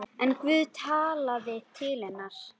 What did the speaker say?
En Guð talaði til hennar.